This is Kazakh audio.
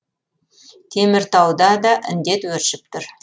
теміртауда да індет өршіп тұр